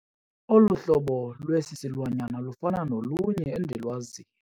Olu hlobo lwesi silwanyana lufana nolunye endilwaziyo.